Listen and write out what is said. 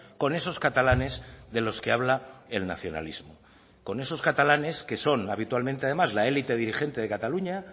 con esos catalanes de los que habla el nacionalismo con esos catalanes que son habitualmente además la elite dirigente de cataluña